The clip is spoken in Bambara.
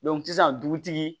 sisan dugutigi